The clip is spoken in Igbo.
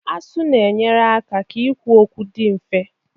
Asụ na-enyere aka ikwu okwu dị mfe